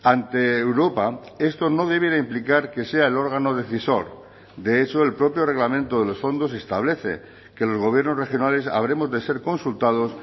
ante europa esto no debiera implicar que sea el órgano decisor de hecho el propio reglamento de los fondos establece que los gobiernos regionales habremos de ser consultados